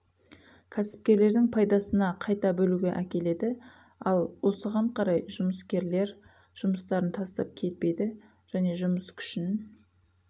кәсіпкерлердің пайдасына қайта бөлуге әкеледі ал осыған қарай жұмыскерлер жұмыстарын тастап кетпейді және жұмыс күшін